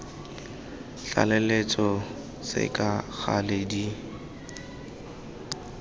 tlaleletso tse ka gale di